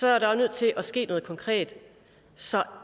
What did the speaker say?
er nødt til at ske noget konkret så